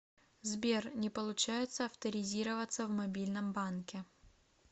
сбер не получается авторизироваться в мобильном банке